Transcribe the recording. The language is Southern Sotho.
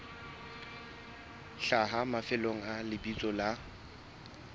hlaha mafelong a lebitso la